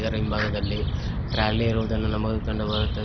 ಅದರ ಹಿಂಭಾಗದಲ್ಲಿ ಟ್ರಾಲಿ ಇರುವುದನ್ನು ನಮಗೆ ಕಂಡುಬರುತ್ತದೆ.